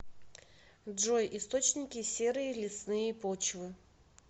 джой источники серые лесные почвы